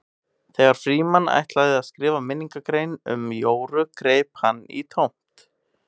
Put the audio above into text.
Þegar Frímann ætlaði að skrifa minningargrein um Jóru greip hann í tómt.